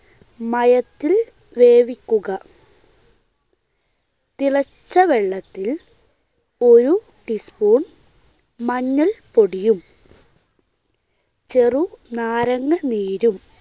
മയത്തിൽ വേവിക്കുക. തിളച്ച വെള്ളത്തിൽ ഒരു tea spoon മഞ്ഞൾപ്പൊടിയും ചെറുനാരങ്ങാനീരും